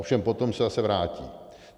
Ovšem potom se zase vrátí.